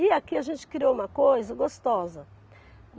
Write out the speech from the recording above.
E aqui a gente criou uma coisa gostosa.